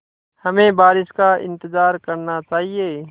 हमें बारिश का इंतज़ार करना चाहिए